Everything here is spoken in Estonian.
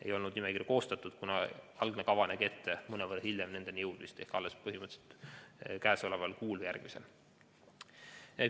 Nimekirju ei olnud koostatud, kuna algne kava nägi ette mõnevõrra hiljem nendeni jõudmist, põhimõtteliselt alles sel või järgmisel kuul.